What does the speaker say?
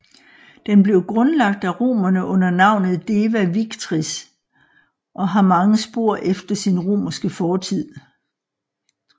Den blev grundlagt af romerne under navnet Deva Victrix og har mange spor efter sin romerske fortid